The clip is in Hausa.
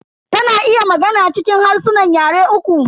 Ta na iya magana cikin harsunan yare uku.